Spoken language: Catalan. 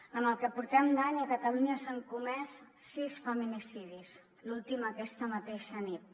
en el que portem d’any a catalunya s’han comès sis feminicidis l’últim aquesta mateixa nit